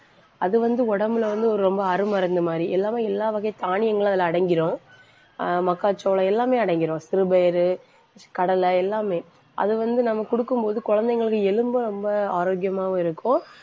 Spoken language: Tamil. அது வந்து, உடம்புல வந்து ஒரு ரொம்ப அருமருந்து மாதிரி. எல்லாமே எல்லா வகை தானியங்களும் அதுல அடங்கிரும். ஆஹ் மக்காச்சோளம் எல்லாமே அடங்கிரும் சிறுபயிறு, கடலை எல்லாமே. அது வந்து, நம்ம கொடுக்கும் போது குழந்தைங்களுக்கு எலும்பு ரொம்ப ஆரோக்கியமாவும் இருக்கும்